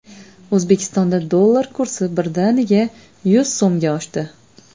O‘zbekistonda dollar kursi birdaniga yuz so‘mga oshdi.